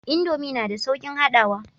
Indomie na da saukin haɗawa